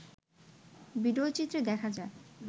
ভিডিওচিত্রে দেখা যায়